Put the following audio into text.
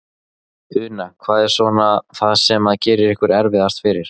Una: Hvað er svona það sem að gerir ykkur erfiðast fyrir?